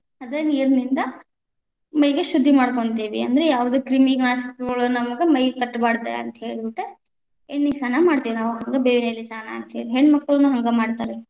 ಅದ ನೀರನಿಂದ ಶುದ್ಧಿ ಮಾಡ್ಕೊಂತಿವಿ, ಅಂದ್ರೆ ಕ್ರಿಮಿನಾಶಕಗಳು ನಮ್ಗ್ ಮೈಗ್‌ ತಟ್ಟಬಾರದ ಅಂತ ಹೇಳ್ಬಿಟ್ಟ ಎಣ್ಣಿಸ್ನಾನ ಮಾಡ್ತೇವಿ ನಾವ್, ಇದ ಬೇವಿನೆಲೆ ಸ್ನಾನ ಅಂತ ಹೇಳಿ, ಹೆಣ್ಣಮಕ್ಕಳೂನು ಹಂಗ ಮಾಡ್ತಾರ.